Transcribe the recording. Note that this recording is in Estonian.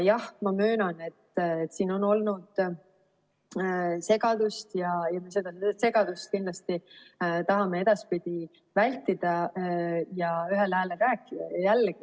Jah, ma möönan, et siin on olnud segadust, ja seda segadust kindlasti tahame edaspidi vältida ja ühel häälel rääkida.